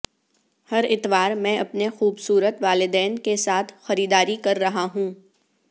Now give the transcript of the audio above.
ہر اتوار میں اپنے خوبصورت والدین کے ساتھ خریداری کررہا ہوں